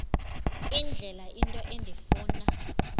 indlela into endifuna